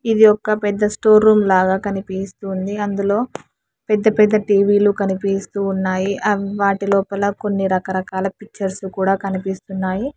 ఇది ఒక్క పెద్ద స్టోర్ రూమ్ లాగా కనిపిస్తుంది అందులో పెద్ద పెద్ద టీ_వీ లు కనిపిస్తూ ఉన్నాయి ఆ వాటి లోపల కొన్ని రకరకాల పిక్చర్స్ కూడా కనిపిస్తున్నాయి.